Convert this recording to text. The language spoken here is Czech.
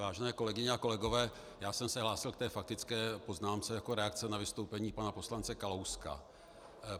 Vážené kolegyně a kolegové, já jsem se hlásil k té faktické poznámce jako reakce na vystoupení pana poslance Kalouska.